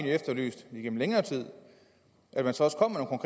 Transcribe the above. efterlyst gennem længere tid at man så også kommer